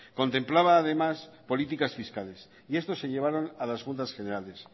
contemplaba además políticas fiscales y estos se llevaron a las juntas generales